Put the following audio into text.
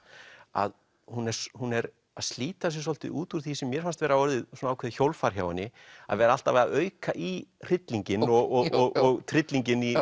að hún er hún er að slíta sig svolítið út úr því sem mér fannst vera orðið ákveðið hjólfar hjá henni að vera alltaf að auka í hryllinginn og hryllinginn